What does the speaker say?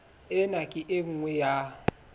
ena ke e nngwe ya